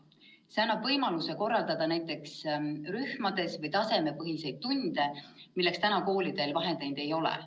See annab võimaluse korraldada näiteks rühmatunde või tasemepõhiseid tunde, milleks praegu koolidel vahendeid ei ole.